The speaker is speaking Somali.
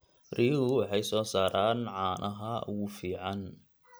Riyuhu waxay soo saaraan caanaha ugu fiican.